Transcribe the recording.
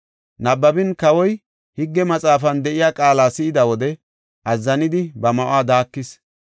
Nabbabin Kawoy Higge Maxaafan de7iya qaala si7ida wode, azzanidi ba ma7uwa daakis.